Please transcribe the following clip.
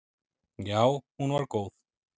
Já hún var góð.